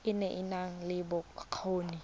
e e nang le bokgoni